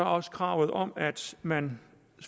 også kravet om at man